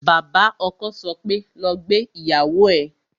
Bàbá ọkọ sọ pé "lọ gbé ìyàwó ẹ"